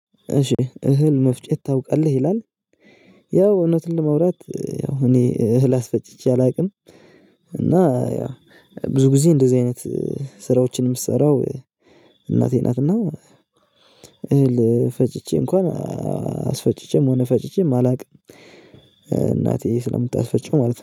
እሺ እህል መፍጨት ታውቃለህ? ይላል ያው እውነት ለማውራት ያው እኔ እህል አስፈጭቼ አላውቅም እና ብዙ ጊዜ እንደዚህ አይነት ስራዎችን የምትሰራው እናቴ ናት እና እህል ፈጭቼ እንኳን አስፈጭቼም ሆነ ፈጭቼም አላቅም ስለምታስፈጭው ማለት ነው